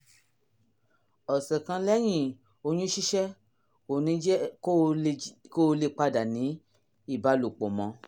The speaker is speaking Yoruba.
ọ̀sẹ̀ kan lẹ́yìn oyún ṣíṣẹ́ kò ní jẹ́ kó o lè padà ní ìbálòpọ̀ mọ́